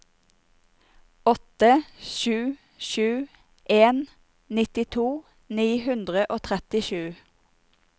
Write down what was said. åtte sju sju en nittito ni hundre og trettisju